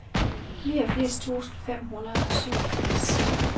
niogfirs tusind fem hundrede og syvogfirs